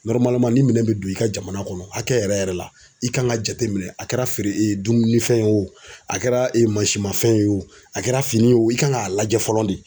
ni minɛn bɛ don i ka jamana kɔnɔ hakɛ yɛrɛ yɛrɛ la i kan ka jate minɛ a kɛra feere dunfɛn ye o a kɛra mansimafɛn ye o kɛra fini ye o i kan k'a lajɛ fɔlɔ de.